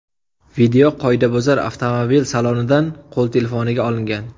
Video qoidabuzar avtomobil salonidan qo‘l telefoniga olingan.